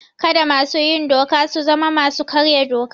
Kada masu yin doka su zama masu karya doka.